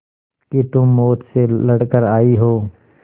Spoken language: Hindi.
कि तुम मौत से लड़कर आयी हो